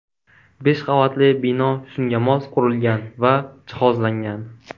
Besh qavatli bino shunga mos qurilgan va jihozlangan.